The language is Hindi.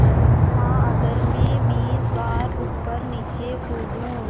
हाँ अगर मैं बीस बार ऊपरनीचे कूदूँ